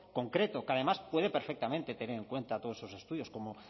concreto que además puede perfectamente tener en cuenta todos esos estudios como